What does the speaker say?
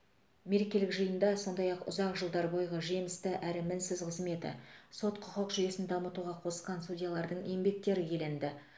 мерекелік жиында сондай ақ ұзақ жылдар бойғы жемісті әрі мінсіз қызметі сот құқық жүйесін дамытуға қосқан судьялардың еңбектері еленді